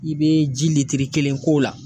I be ji kelen k'o la.